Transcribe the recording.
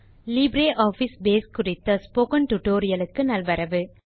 LibreOffice Base குறித்த spoken tutorial க்கு நல்வரவு